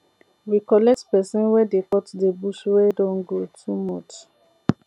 we collect pesin wey dey cut the bush wey don grow too much